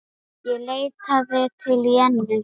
Ég leitaði til Jennu.